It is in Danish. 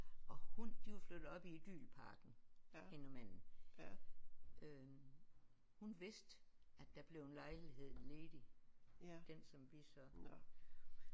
Og hun de var flyttet op i Idylparken hende og manden øh hun vidste at der blev en lejlighed ledig den som vi så